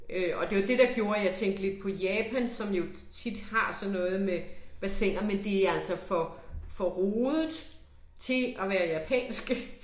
Øh og det var det der gjorde at jeg tænkte lidt på Japan, som jo tit har sådan noget med bassiner, men det er altså for, for rodet til at være japansk